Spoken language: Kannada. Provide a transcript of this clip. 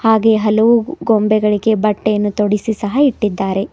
ಹಾಗೆ ಹಲವು ಗೊಂಬೆಗಳಿಗೆ ಬಟ್ಟೆಯನ್ನು ತೋಡಿಸಿ ಸಹ ಇಟ್ಟಿದ್ದಾರೆ.